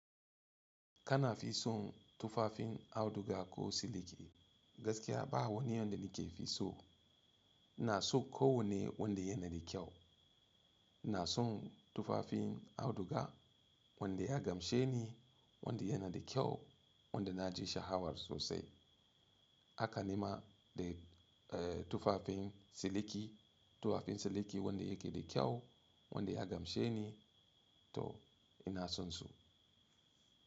Kana fi son tufafin Auduga ko Siliki? Gaskiya ba wani yanda nake fi so. Ina so kawanne wanda yana da kyau. Ina son tufafin auduga wanda ya gamshe ni, wanda yana da kyau, wanda na ji sha'awar sosai. Haka nima da tufafin siliki, tufafin siliki wanda yake da kyau, wanda ya gamshe ni to ina son su.